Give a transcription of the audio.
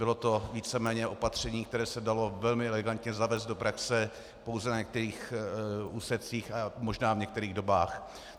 Bylo to víceméně opatření, které se dalo velmi elegantně zavést do praxe pouze na některých úsecích a možná v některých dobách.